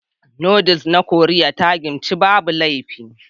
Noodles na Koriya ta Kimchi babu laifi.